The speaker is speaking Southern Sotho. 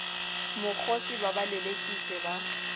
mokgosi ba ba lelekise ba